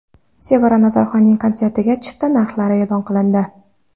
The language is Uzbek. Sevara Nazarxonning konsertiga chipta narxlari e’lon qilindi.